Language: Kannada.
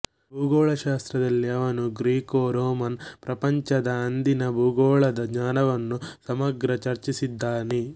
ಭೂಗೋಳಶಾಸ್ತ್ರದಲ್ಲಿ ಅವನು ಗ್ರೀಕೋರೋಮನ್ ಪ್ರಪಂಚದ ಅಂದಿನ ಭೂಗೋಳದ ಜ್ಞಾನವನ್ನು ಸಮಗ್ರ ಚರ್ಚಿಸಿದ್ದಾನೆ